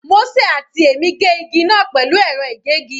Mósè àti èmi gé igi náà pẹ̀lú ẹ̀rọ ìgégi.